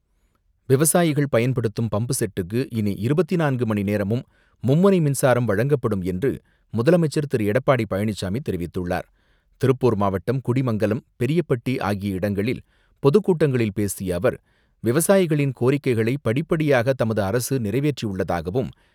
விவசாயிகள் பயன்படுத்தும் பம்பு செட்டுக்கு இனி இருபத்தி நான்கு மணி நேரமும் மும்முனை மின்சாரம் வழங்கப்படும் என்று முதலமைச்சர் திரு எடப்பாடி பழனிசாமி தெரிவித்துள்ளார். திருப்பூர் மாவட்டம் குடிமங்கலம் பெரியப்பட்டி ஆகிய இடங்களில் பொதுக்கூட்டங்களில் பேசிய அவர் விவசாயிகளின் கோரிக்கைகளை படிப்படியாக தமது அரசு நிறைவேற்றியுள்ளதாகவும்,